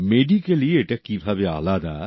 medically এটা কিভাবে আলাদা